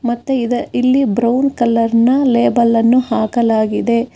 ಮತ್ತೆ ಇದ ಇಲ್ಲಿ ಬ್ರೌನ್ ಕಲರ್ನ ಲೇಬಲ್ಲನ್ನು ಹಾಕಲಾಗಿದೆ.